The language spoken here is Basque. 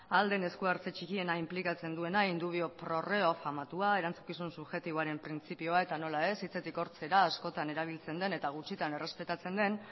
ahal den eskuartze txikiena inplikatzen duena in dubio pro reo famatua erantzukizun subjektuaren printzipioa eta nola ez hitzetik hortzera askotan erabiltzen den eta gutxitan errespetatzen den